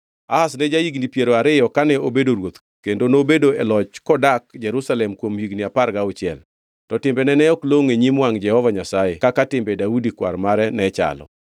Ahaz ne ja-higni piero ariyo kane obedo ruoth kendo nobedo e loch kodak Jerusalem kuom higni apar gauchiel. To timbene ne ok longʼo e nyim wangʼ Jehova Nyasaye kaka timbe Daudi kwar mare ne chalo.